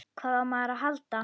Hvað á maður að halda?